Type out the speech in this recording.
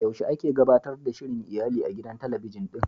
Yaushe ake gabatar da shirin iyali a gidan talabijin ɗin?